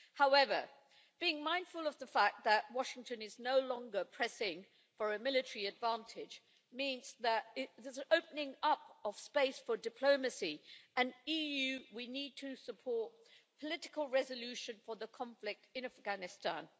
However, being mindful of the fact that Washington is no longer pressing for a military advantage means there is an opening up of space for diplomacy and the EU needs to support political resolution for the conflict in Afghanistan.